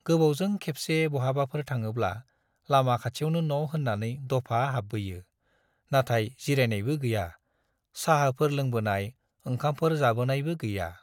गोबावजों खेबसे बहाबाफोर थाङोब्ला लामा खाथियावनो न' होन्नानै दफा हाब्बोयो, नाथाय जिरायनायबो गैया, चाहाफोर लोंबोनाय, ओंखामफोर जाबोनायबो गैया।